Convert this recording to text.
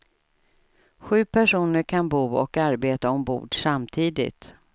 Sju personer kan bo och arbeta ombord samtidigt.